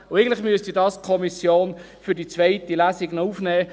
Eigentlich müsste die Kommission das für die zweite Lesung aufnehmen.